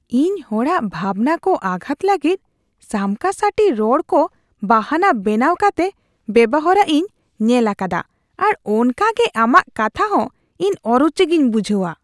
ᱤᱧ ᱦᱚᱲᱟᱜ ᱵᱷᱟᱵᱱᱟᱠᱚ ᱟᱜᱷᱟᱛ ᱞᱟᱹᱜᱤᱫ ᱥᱟᱢᱠᱟᱥᱟᱹᱴᱤ ᱨᱚᱲᱠᱚ ᱵᱟᱦᱟᱱᱟ ᱵᱮᱱᱟᱣ ᱠᱟᱛᱮᱜ ᱵᱮᱣᱦᱟᱨᱚᱜ ᱤᱧ ᱧᱮᱞ ᱟᱠᱟᱫᱟ ᱟᱨ ᱚᱱᱠᱟᱜᱮ ᱟᱢᱟᱜ ᱠᱟᱛᱷᱟ ᱦᱚᱸ ᱤᱧ ᱚᱨᱩᱪᱤ ᱜᱮᱧ ᱵᱩᱡᱷᱟᱹᱣᱟ ᱾